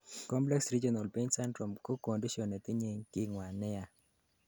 complex regional pain syndrome ko condition netinyei kingwan neyaa